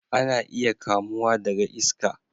Ana iya kamuwa daga iska